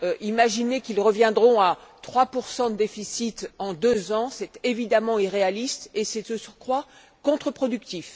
Imaginer qu'ils reviendront à 3 de déficit en deux ans, c'est évidemment irréaliste et c'est, de surcroît, contre productif.